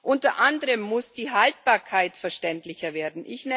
Unter anderem muss die Haltbarkeit verständlicher werden.